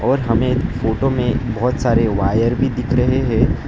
और हमें फोटो में बहोत सारे वायर भी दिख रहे हैं।